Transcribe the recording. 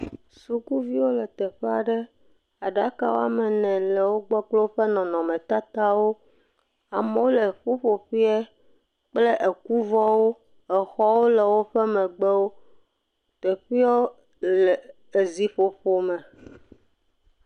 Sukuviwo le teƒe aɖe. Aɖaka wɔme ene le wogbɔ kple woƒe nɔnɔmetatawo. Amewo le ƒuƒoƒea kple ekuvɔwo. Exɔwo le woƒe megbewo. Teƒeawo le eziƒoƒo me.